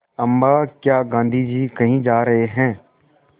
अम्मा क्या गाँधी जी कहीं जा रहे हैं